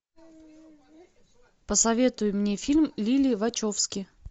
посоветуй мне фильм лилли вачовски